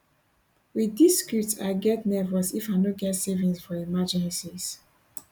wit dis script i get nervous if i no get savings for emergencies